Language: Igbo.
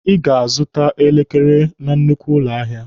Ị ga-azụta elekere na nnukwu ụlọ ahịa!